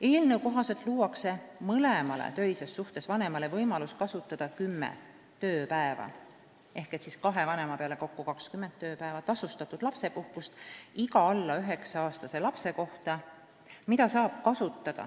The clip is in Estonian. Eelnõu kohaselt luuakse mõlemale töises suhtes vanemale võimalus kasutada kümme tööpäeva ehk kahe vanema peale kokku 20 tööpäeva tasustatud lapsepuhkust iga alla 9-aastase lapse kohta.